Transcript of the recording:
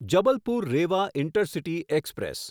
Jabalpur Rewa intercity express